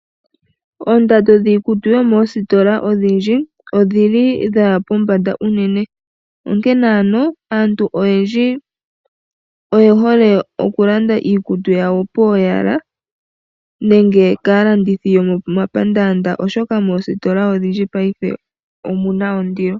Oondando dhiikutu dhomoositola odhindji odhili dhaya pombanda unene. Onkene ano aantu oyendji oye hole oku landa iikutu yawo pooyala nenge kaalandithi yomomapandaanda. Oshoka moositola odhindji paife omuna ondilo.